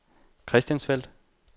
Christiansfeld